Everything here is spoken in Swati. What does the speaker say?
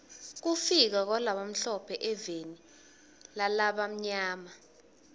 kufika kwalabamhlophe eveni lalabamnyama